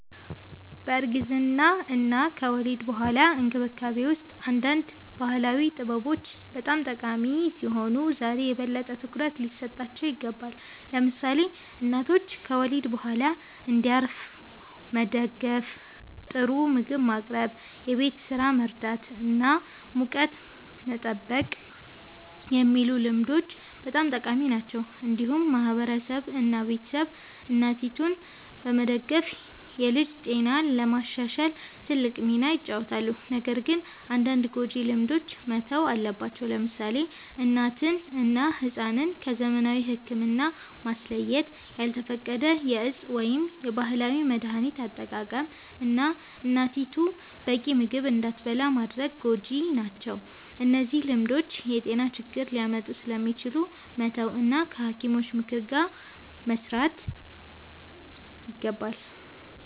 በእርግዝና እና ከወሊድ በኋላ እንክብካቤ ውስጥ አንዳንድ ባህላዊ ጥበቦች በጣም ጠቃሚ ሲሆኑ ዛሬ የበለጠ ትኩረት ሊሰጣቸው ይገባል። ለምሳሌ እናቶች ከወሊድ በኋላ እንዲያርፉ መደገፍ፣ ጥሩ ምግብ ማቅረብ፣ የቤት ስራ መርዳት እና ሙቀት መጠበቅ የሚሉ ልምዶች በጣም ጠቃሚ ናቸው። እንዲሁም ማህበረሰብ እና ቤተሰብ እናቲቱን በመደገፍ የልጅ ጤናን ለማሻሻል ትልቅ ሚና ይጫወታሉ። ነገር ግን አንዳንድ ጎጂ ልማዶች መተው አለባቸው። ለምሳሌ እናትን እና ሕፃንን ከዘመናዊ ሕክምና ማስለየት፣ ያልተፈቀደ የእፅ ወይም የባህላዊ መድሀኒት አጠቃቀም፣ እና እናቲቱ በቂ ምግብ እንዳትበላ ማድረግ ጎጂ ናቸው። እነዚህ ልማዶች የጤና ችግር ሊያመጡ ስለሚችሉ መተው እና ከሐኪሞች ምክር ጋር መስራት ይገባል።